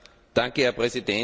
Herr Präsident!